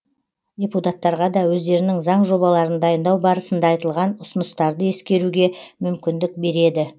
депутаттарға да өздерінің заң жобаларын дайындау барысында айтылған ұсыныстарды ескеруге мүмкіндік береді